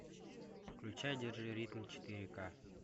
включай держи ритм четыре ка